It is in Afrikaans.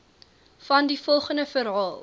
vandie volgende verhaal